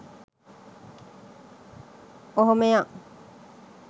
ඔහොම යන්.